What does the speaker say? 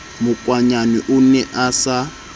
makwanyane o ne a sa